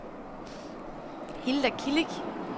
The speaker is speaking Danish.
Hilda Kilic